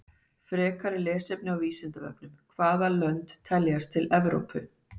Frekara lesefni á Vísindavefnum Hvaða lönd teljast til Evrópu?